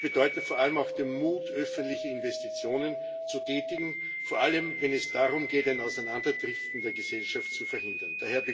Das bedeutet vor allem auch den Mut, öffentliche Investitionen zu tätigen, vor allem wenn es darum geht, ein Auseinanderdriften der Gesellschaft zu verhindern.